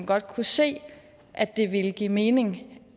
godt kan se at det ville give mening